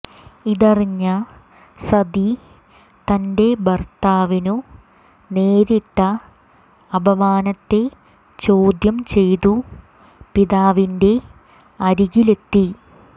ഇതറിഞ്ഞ സതി തന്റെ ഭർത്താവിനു നേരിട്ട അപമാനത്തെ ചോദ്യം ചെയ്തു പിതാവിന്റെ അരികിലെത്തി